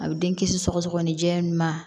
A bɛ den kisi sɔgɔsɔgɔnijɛ ma